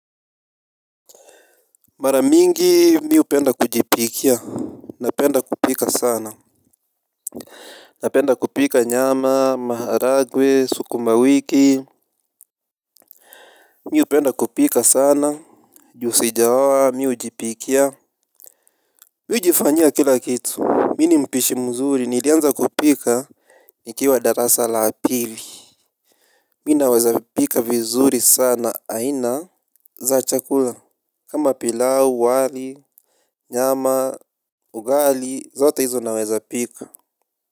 Maramingi mi upenda kujipikia. Napenda kupika sana. Napenda kupika nyama, maharagwe, sukuma wiki. Mi upenda kupika sana, juu sijaoa, mi hujipikia. Mi hujifanya kila kitu, mi ni mpishi mzuri, nilianza kupika. Nikiwa darasa la apili minaweza pika vizuri sana, aina za chakula kama pilau, wali, nyama, ugali, zote hizo naweza pika.